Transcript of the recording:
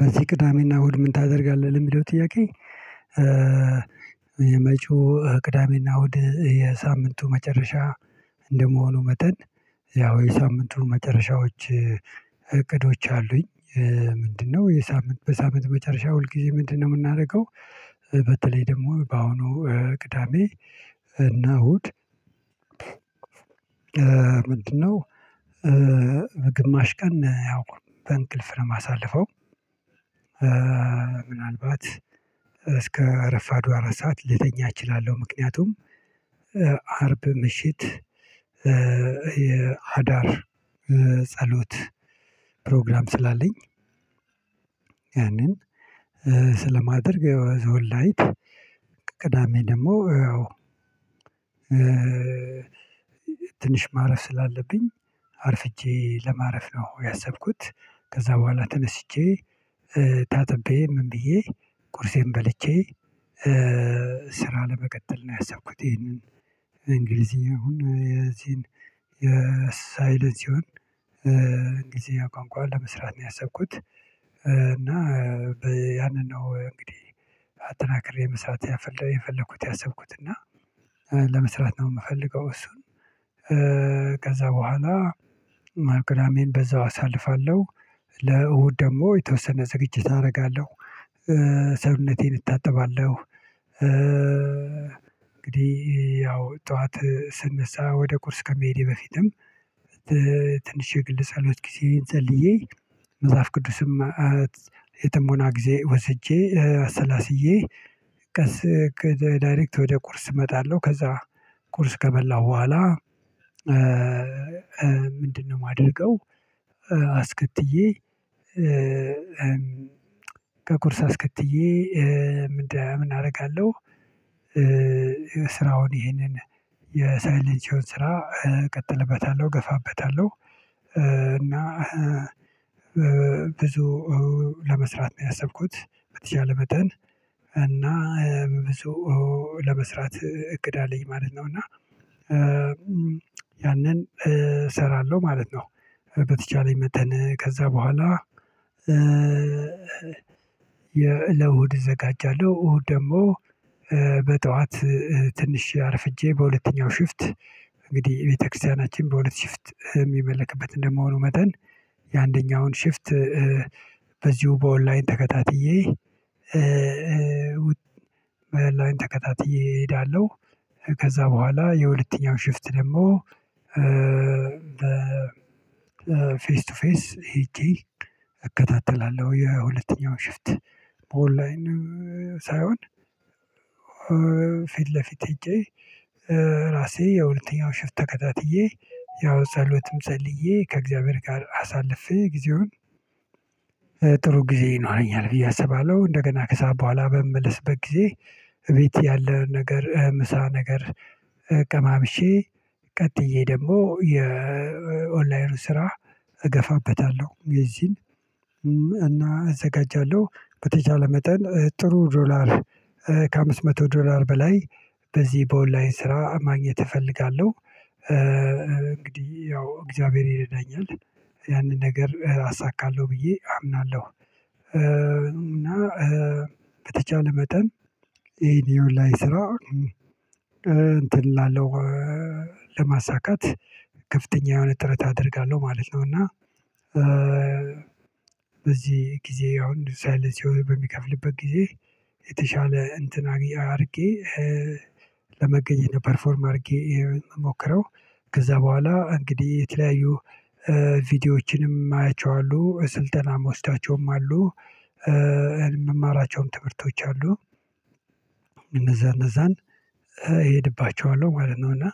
በዚህ ቅዳሜና እሁድ ምን ታደርጋለህ ለሚለው ጥያቄ? የመጪው ቅዳሜና እሁድ የሳምንቱ መጨረሻ እንደመሆኑ መጠን ያው የሳምንቱ መጨረሻዎች እቅዶች አሉኝ። ምንድነው የሳምንት በሳምንት መጨረሻ ሁል ጊዜ ምንድነው ምናረገው? በተለይ ደግሞ በአሁኑ ቅዳሜ እና እሁድ ምንድነው ግማሽ ቀን ያው በእንቅልፍ ነው ማሳልፈው። ምናልባት እስከ እረፋዱ አራት ሰዓት ልተኛ እችላለው። ምክንያቱም አርብ ምሽት የአዳር ጸሎት ፕሮግራም ስላለኝ። ያንን ስለማደርግ ዘወል ላይት ቅዳሜ ደግሞ ያው። ትንሽ ማረፍ ስላለብኝ አርፍጄ ለማረፍ ነው ያሰብኩት። ከዛ በኋላ ተነስቼ ታጥቤ ምን ብዬ ቁርሴን በልቼ ስራ ለመቀጠል ነው ያሰብኩት። ይሄንን እንግሊዚኛውን የዚህን የሳይለንሲዎን እንግሊዘኛ ቋንቋ ለመስራት ነው ያሰብኩት። እና ያንን ነው እንግዲህ አጠናክሬ መስራት የፈለኩት ያሰብኩት እና ለመስራት ነው ምፈልገው። እሱን ከዛ በኋላ ማቅዳሜን በዛው አሳልፋለው። ለእሁድ ደግሞ የተወሰነ ዝግጅት አረጋለው። ሰውነቴን እታጠባለው እንግዲህ ያው ጠዋት ስነሳ ወደ ቁርስ ከመሄዴ በፊትም ትንሽ የግል ጸሎት ጊዜን ጸልዬ መጽሐፍ ቅዱስም የጥሞና ጊዜ ወስጄ አሰላስዬ ቀስ ዳይሬክት ወደ ቁርስ እመጣለሁ። ከዛ ቁርስ ከበላው በኋላ ምንድነው ማደርገው? አስከትዬ ከቁርስ አስከትዬ ምን እረጋለሁ? ስራውን ይሄንን የሰለቸውን ስራ እቀጥልበታለሁ እገፋበታለሁ። እና ብዙ ለመስራት ነው ያሰብኩት። በተቻለ መጠን እና ብዙ ለመስራት እቅድ አለኝ ማለት ነው። እና ያንን እሰራለው ማለት ነው። በተቻለኝ መጠን ከዛ በኋላ። ለእሁድ እዘጋጃለው እሁድ ደግሞ በጠዋት ትንሽ አርፍጄ በሁለተኛው ሽፍት እንግዲህ ቤተክርስቲያናችን በሁለት ሽፍት ሚመልክበት እንደመሆኑ መጠን የአንደኛውን ሽፍት በዚሁ በኦንላይን ተከታትዬ ላይን ተከታትዬ እሄዳለሁ። ከዛ በኋላ የሁለተኛው ሽፍት ደግሞ። ፌስ ቱ ፌስ ሄጄ እከታተላለሁ የሁለተኛውን ሽፍት በኦንላይን ሳይሆን ፊት ለፊት ሄጄ ራሴ የሁለተኛው ሽፍት ተከታትዬ። ያው ጸሎትም ጸልዬ ከእግዚአብሔር ጋር አሳልፌ ጊዜውን ጥሩ ጊዜ ይኖረኛል ብዬ አስባለሁ። እንደገና ከሰአት በኋላ በምመለስበት ጊዜ እቤት ያለ ነገር ምሳ ነገር ቀማምሼ ቀጥዬ ደግሞ የኦንላይን ስራ እገፋበታለው። እነዚህን እና እዘጋጃለው በተቻለ መጠን ጥሩ ዶላር ከአምስት መቶ ዶላር በላይ በዚህ በኦንላይን ስራ ማግኘት እፈልጋለው። እንግዲህ ያው እግዚአብሔር ይረዳኛል ያንን ነገር አሳካለው ብዬ አምናለው። እና በተቻለ መጠን ይሄን የኦንላይን ስራ እንትን እላለው ለማሳካት ከፍተኛ የሆነ ጥረት አደርጋለው ማለት ነው። እና በዚህ ጊዜ አሁን ሳይለንሲዎ በሚከፍልበት ጊዜ የተሻለ እንትን አድርጌ ለመገኘት ፐርፎርም አርጌ ሞክረው። ከዛ በኋላ እንግዲህ የተለያዩ ቪዲዮዎችንም አያቸው አሉ ስልጠናም ወስዳቸውም አሉ። የምማራቸውም ትምህርቶች አሉ። እነዛን እነዛን እሄድባቸዋለው ማለት ነው። እና